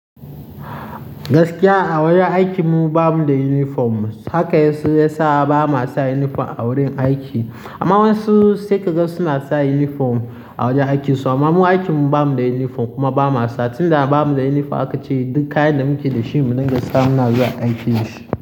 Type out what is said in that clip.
Gaskiya a wajen aikin mu bamu da uniform. Haka yasa sai ba ma sa uniform a wurin aiki. Amma wasu sai kaga suna sa uniform a wajen aikinsu. Amma mu aikin mu bamu da uniform kuma ba ma sa. Tunda ba mu da uniform aka ce duk kayan da muke da shi muna gasa muna zuwa aiki da shi.